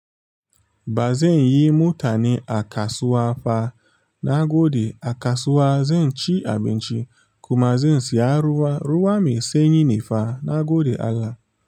Ba zan yi mutani a kasuwa fa, na gode. A kasuwa zan ci abinci kuma zan saya ruwa. Ruwa mai sanyi ne fa na gode Allah.